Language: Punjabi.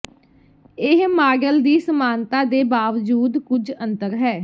ਇਹ ਮਾਡਲ ਦੀ ਸਮਾਨਤਾ ਦੇ ਬਾਵਜੂਦ ਕੁਝ ਅੰਤਰ ਹੈ